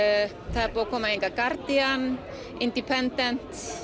það er búið að koma hingað Guardian independent